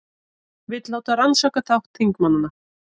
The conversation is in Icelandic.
Vill láta rannsaka þátt þingmanna